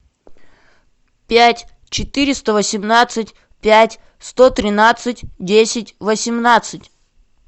пять четыреста восемнадцать пять сто тринадцать десять восемнадцать